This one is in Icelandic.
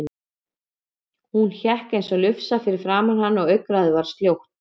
Hún hékk eins og lufsa fyrir framan hann og augnaráðið var sljótt.